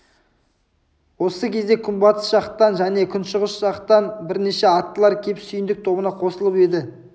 осы кезде күнбатыс жақтан және күншығыс жақтан да бірнеше аттылар кеп сүйіндік тобына қосылып еді